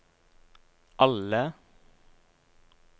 alle